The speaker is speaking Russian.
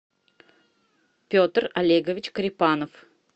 петр олегович корепанов